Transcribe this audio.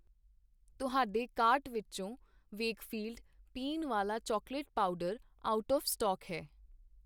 ਤੁਹਾਡੇ ਕਾਰਟ ਵਿੱਚੋ ਵੇਕਫ਼ੀਲਡ ਪੀਣ ਵਾਲਾ chocolate powder out of stock ਹੈ I